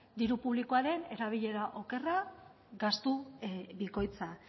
diru publikoaren erabilera okerra gastu bikoitza